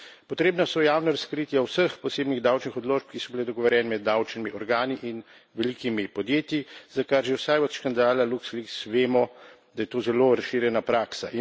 Potrebna so javna razkritja vseh osebnih davčnih odločb, ki so bile dogovorjene med davčnimi organi in velikimi podjetji, za kar že vsaj od škandala Luxleaks vemo, da je to zelo razširjena praksa.